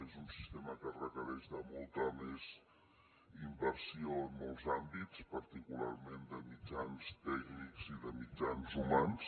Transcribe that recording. és un sistema que requereix molta més inversió en molts àmbits particularment de mitjans tècnics i de mitjans humans